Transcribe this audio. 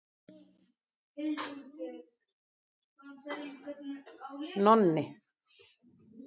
Nonni